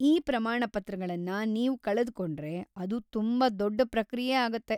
ಈ ಪ್ರಮಾಣಪತ್ರಗಳನ್ನ ನೀವು ಕಳೆದುಕೊಂಡ್ರೆ, ಅದು ತುಂಬಾ ದೊಡ್ಡ ಪ್ರಕ್ರಿಯೆ ಆಗತ್ತೆ.